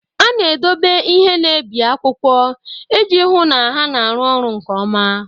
A na-edobe ihe na-ebi akwụkwọ iji hụ na ha na-arụ ọrụ nke ọma.